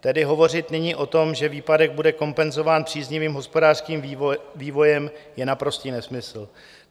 Tedy hovořit nyní o tom, že výpadek bude kompenzován příznivým hospodářským vývojem, je naprostý nesmysl.